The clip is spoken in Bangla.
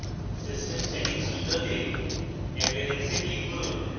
system settings window appearance এ click করুন